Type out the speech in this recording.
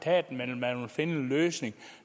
herre bent bøgsted